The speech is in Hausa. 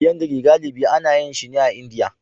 Polyandry galibi ana yin shi a Indiya